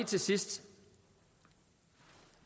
til sidst